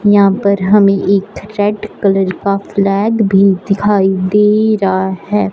यहां पर हमें एक रेड कलर का फ्लैग भी दिखाई दे रहा है।